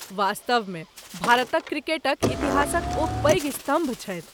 वास्तवमे भारतक क्रिकेटक इतिहासक ओ पैघ स्तम्भ छथि।